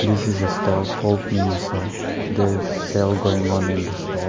This is a store called minisou there is sale going on in the store.